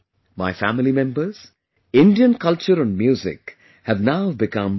My family members, Indian culture and music have now become global